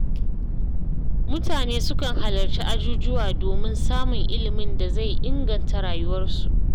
Mutane sukan halarci ajujuwa domin samun ilimin da zai inganta rayuwarsu.